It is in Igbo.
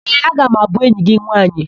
Ee, aga m abụ enyi gị nwaanyị.